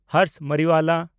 Harsh Mariwala